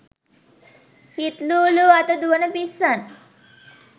හිත් ලූ ලූ අත දුවන පිස්සන්